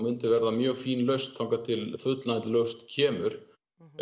myndi vera mjög fín lausn þar til full lausn kemur